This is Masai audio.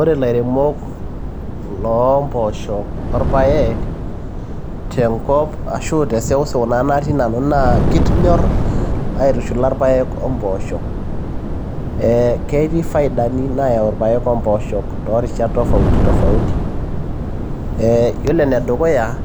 Ore ilairemok loo mpooshok olpaek, tenkop ana te sewsew natii nanu naa kenyorr aitushula ilpaek o mpoosho, ketii ifaidani nayau ilpaek oempoosho too rishat tofauti tofauti. Iyiolo enedukuya